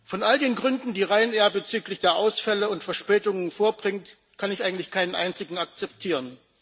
Von all den Gründen, die Ryanair bezüglich der Ausfälle und Verspätungen vorbringt, kann ich eigentlich keinen einzigen akzeptieren.